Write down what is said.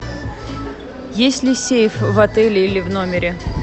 есть ли сейф в отеле или в номере